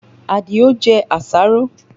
Adio jẹ àṣàrò